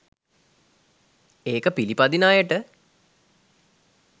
ඒක පිළිපදින අයට.